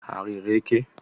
Ha riri eke?